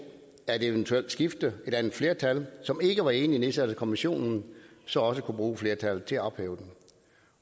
at et eventuelt skifte et andet flertal som ikke var enig i at nedsætte kommissionen så også kunne bruge flertallet til at ophæve den